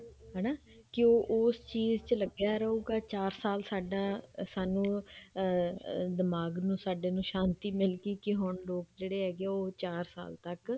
ਹਨਾ ਕੇ ਉਹ ਉਸ ਚੀਜ਼ ਚ ਲੱਗਿਆ ਰਹੇ ਚਾਰ ਸਾਲ ਸਾਡਾ ਸਾਨੂੰ ਅਮ ਦਿਮਾਗ ਨੂੰ ਸਾਡੇ ਨੂੰ ਸ਼ਾਂਤੀ ਮਿਲਗੀ ਕੇ ਹੁਣ ਲੋਕ ਜਿਹੜੇ ਹੈਗੇ ਆ ਉਹ ਚਾਰ ਸਾਲ ਤੱਕ